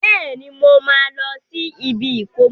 Bẹ́ẹ̀ni, mo máa lọ sí ibi ìkómọ.